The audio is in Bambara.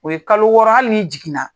O ye kalo wɔɔrɔ hali n'i jigin na.